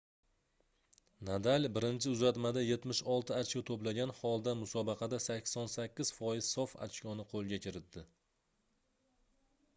nadal birinchi uzatmada 76 ochko toʻplagan holda musobaqada 88% sof ochkoni qoʻlga kiritdi